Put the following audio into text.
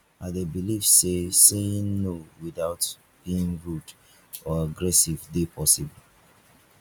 i dey believe say saying no without being rude or aggressive dey possible